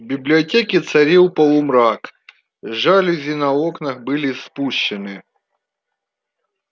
в библиотеке царил полумрак жалюзи на окнах были спущены